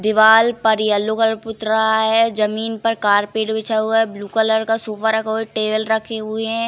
दीवाल पर yellow colour पुत रहा है। जमीन पर कारपेट बिछा हुआ है। ब्लू कलर का सोफा रखा हुआ है। टेबल रखे हुए हैं।